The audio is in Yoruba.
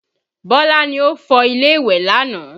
Bọ́lá ni ó fọ ilé ìwẹ̀ lánàá